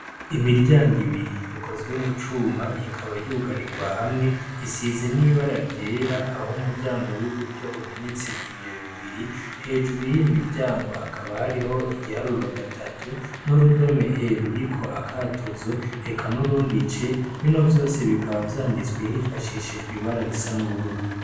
Imiryango ibiri, ikozwe m'ucuma ikaba yugarigwa hamwe , isize n'ibara ryera ah'umuryango w'uburyo umenetse ibiyo bibiri ,hejuru yiyo miryango hakaba hariho igiharuro gatatu n'urudome e ruriko akatuzo ,eka n'urundi c ,bino vyose bikaba vyanditse hifashishijwe ibara risa n'ubururu.